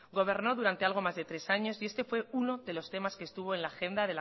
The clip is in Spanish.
gobernó durante algo más de tres años y este fue uno de los temas que estuvo en la agenda